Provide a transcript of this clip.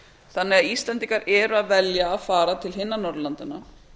þannig að íslendingar eru að velja að fara til hinna norðurlandanna